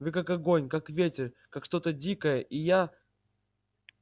вы как огонь как ветер как что-то дикое и я